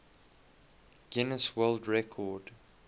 guinness world record